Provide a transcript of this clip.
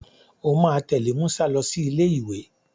O máa tẹ̀lé Musa lọ sí ilé ìwé.